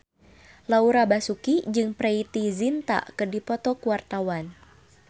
Laura Basuki jeung Preity Zinta keur dipoto ku wartawan